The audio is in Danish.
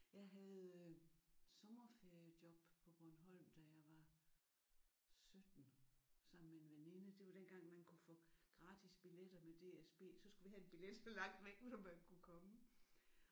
Jeg havde sommerferiejob på Bornholm da jeg var 17 sammen med en veninde. Det var dengang man kunne få gratis biletter med DSB så skulle vi have en billet så langt væk nu som man kunne komme